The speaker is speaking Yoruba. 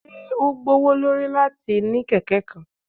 Ṣe o gbowolori lati ni keke kan?